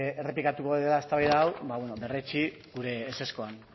errepikatuko dela eztabaida hau ba beno berretsi gure ezezkoan